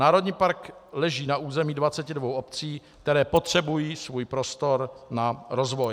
Národní park leží na území 22 obcí, které potřebují svůj prostor na rozvoj.